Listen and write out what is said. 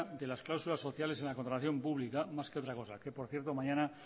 de las cláusulas sociales en la contratación pública más que otra cosa que por cierto mañana